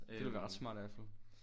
Det ville være ret smart i hvert fald